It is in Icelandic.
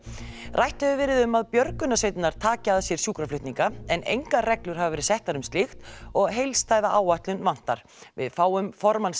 rætt hefur verið um að björgunarsveitirnar taki að sér sjúkraflutninga en engar reglur hafa verið settar um slíkt og heildstæða áætlun vantar við fáum formann